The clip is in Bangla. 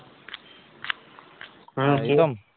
হম কিরণ